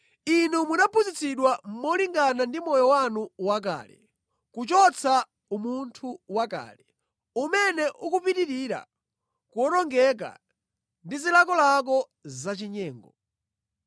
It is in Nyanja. Inu munaphunzitsidwa molingana ndi moyo wanu wakale, kuchotsa umunthu wakale, umene ukupitirira kuwonongeka ndi zilakolako zachinyengo;